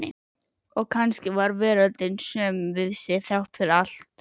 Og kannski var veröldin söm við sig, þrátt fyrir allt.